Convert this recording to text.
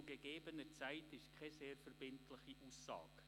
Zu gegebener Zeit» ist keine sehr verbindliche Aussage.